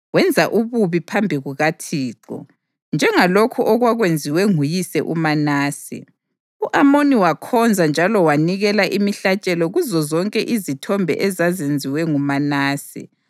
Wenza ububi phambi kukaThixo, njengalokhu okwakwenziwe nguyise uManase. U-Amoni wakhonza njalo wanikela imihlatshelo kuzozonke izithombe ezazenziwe nguManase.